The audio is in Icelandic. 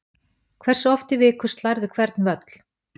Hversu oft í viku slærðu hvern völl?